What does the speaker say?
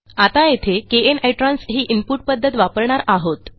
आता येथे kn इत्रांस ही इनपुट पध्दत वापरणार आहोत